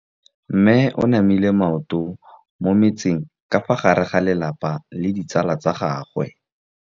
Mme o namile maoto mo mmetseng ka fa gare ga lelapa le ditsala tsa gagwe.